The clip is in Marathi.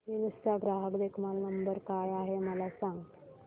हिल्स चा ग्राहक देखभाल नंबर काय आहे मला सांग